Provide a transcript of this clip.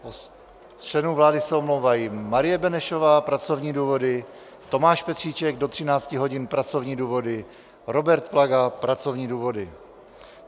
Z členů vlády se omlouvají: Marie Benešová - pracovní důvody, Tomáš Petříček do 13 hodin - pracovní důvody, Robert Plaga - pracovní důvody.